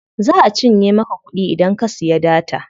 Za a cinye maka kuɗi idan ka siya data.